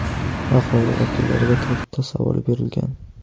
Aholi vakillariga to‘rtta savol berilgan.